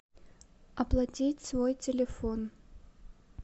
оплатить свой телефон